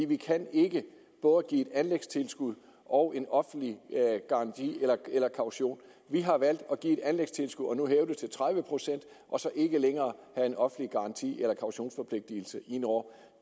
vi kan ikke både give et anlægstilskud og en offentlig garanti eller kaution vi har valgt at give et anlægstilskud og nu hæve det til tredive procent og så ikke længere have en offentlig garanti eller kautionsforpligtelse ind over